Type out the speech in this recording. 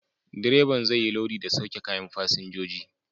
Direban zai yi lodi da sauke kayan fasinjoji.